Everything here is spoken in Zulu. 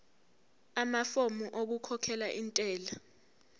amafomu okukhokhela intela